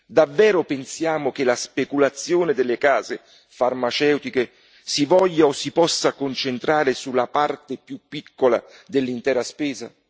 Davvero pensiamo che la speculazione delle case farmaceutiche si voglia o si possa concentrare sulla parte più piccola dell'intera spesa?